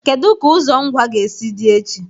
Kedu ka ụzọ Ngwa ga-esi dị echi?